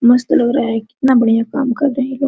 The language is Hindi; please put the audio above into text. मस्त लग रहा है कितना बढ़िया काम कर रहे लोग।